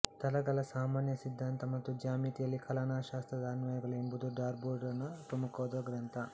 ತಲಗಳ ಸಾಮಾನ್ಯ ಸಿದ್ಧಾಂತ ಮತ್ತು ಜ್ಯಾಮಿತಿಯಲ್ಲಿ ಕಲನಶಾಸ್ತ್ರದ ಅನ್ವಯಗಳು ಎಂಬುದು ಡಾರ್ಬೋನ ಪ್ರಮುಖವಾದ ಗ್ರಂಥ